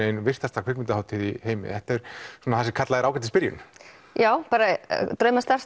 ein virtasta kvikmyndahátíð heims þetta er svona það sem kallað er ágætis byrjun já bara